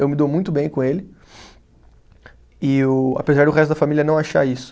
Eu me dou muito bem com ele, eu apesar do resto da família não achar isso.